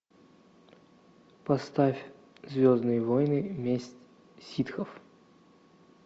поставь звездные войны месть ситхов